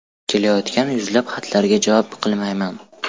Kelayotgan yuzlab xatlarga javob qilmayman.